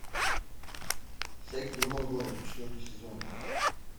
секс в другом городе четвертый сезон